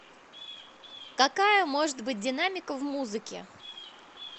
какая может быть динамика в музыке